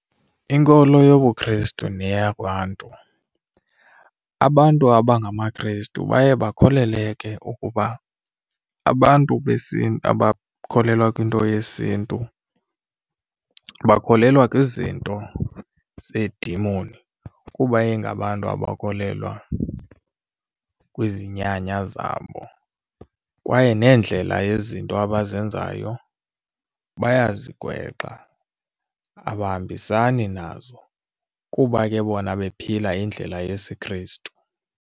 Inkolo yobuKrestu neya kwaNtu, abantu abangamaKrestu baye bakholele ke ukuba abantu abakholelwa kwinto yesiNtu bakholelwa kwizinto zeedimoni kuba ingabantu abakholelwa kwizinyanya zabo, kwaye neendlela yezinto abazenzayo bayazigwexa abahambisani nazo kuba ke bona bephila indlela yesiKrestu.